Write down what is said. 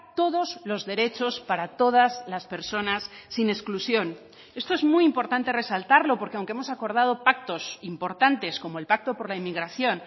todos los derechos para todas las personas sin exclusión esto es muy importante resaltarlo porque aunque hemos acordado pactos importantes como el pacto por la inmigración